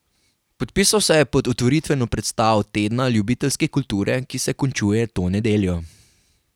Podpisal se je pod otvoritveno predstavo Tedna ljubiteljske kulture, ki se končuje to nedeljo.